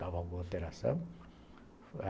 Dava alguma alteração.